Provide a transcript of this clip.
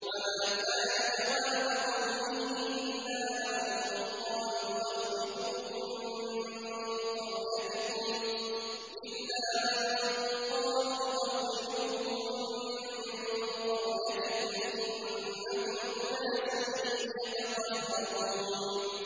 وَمَا كَانَ جَوَابَ قَوْمِهِ إِلَّا أَن قَالُوا أَخْرِجُوهُم مِّن قَرْيَتِكُمْ ۖ إِنَّهُمْ أُنَاسٌ يَتَطَهَّرُونَ